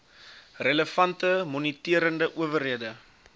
relevante moniterende owerhede